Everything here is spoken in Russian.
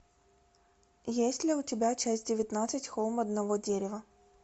есть ли у тебя часть девятнадцать холм одного дерева